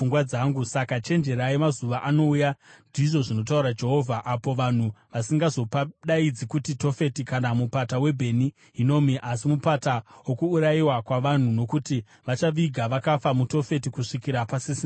Saka chenjerai, mazuva anouya, ndizvo zvinotaura Jehovha, apo vanhu vasingazopadaidzi kuti Tofeti kana Mupata waBheni Hinomi, asi Mupata woKuurayiwa kwaVanhu, nokuti vachaviga vakafa muTofeti kusvikira pasisina nzvimbo.